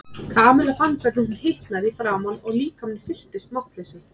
Kamilla fann hvernig hún hitnaði í framan og líkaminn fylltist máttleysi.